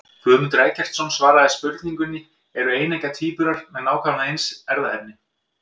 Guðmundur Eggertsson svaraði spurningunni Eru eineggja tvíburar með nákvæmlega eins erfðaefni?